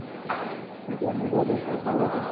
மெதுவா, மெதுவா பேசு.